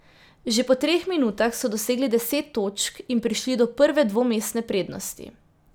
Že po treh minutah so dosegli deset točk in prišli do prve dvomestne prednosti.